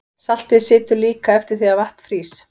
Saltið situr líka eftir þegar vatn frýs.